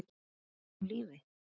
Er hann enn á lífi?